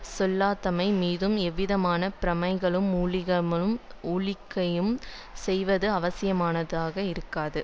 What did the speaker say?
செல்தகைமை மீது எந்தவிதமான பிரமைகளை ஊக்கமிழக்கவும் செய்வது அவசியமானதாக இருந்தது